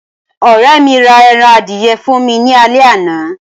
ọrẹ mi ra eran adìye fún mi ni ale àná